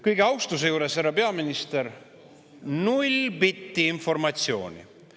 Kogu austuse juures, härra peaminister, null bitti informatsiooni.